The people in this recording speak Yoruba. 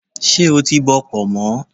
Ṣé o ti bọ pọ̀nmọ́?